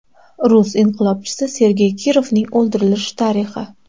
Rus inqilobchisi Sergey Kirovning o‘ldirilishi tarixi.